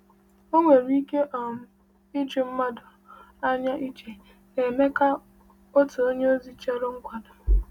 O nwere ike um iju mmadụ anya iche na Emeka, otu onyeozi, chọrọ nkwado.